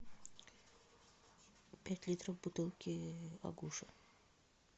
пять литров бутылки агуша